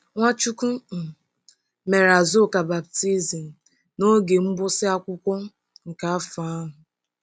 Nwachukwu um mere Azuka baptizim n'oge mgbụsị akwụkwọ nke afọ ahụ.